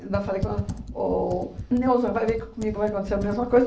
Ainda falei com ela, ô ô, Neuza, vai ver que comigo vai acontecer a mesma coisa.